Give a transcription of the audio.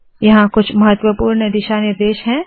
यहाँ कुछ महत्वपूर्ण दिशा निर्देश है